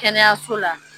Kɛnɛyaso la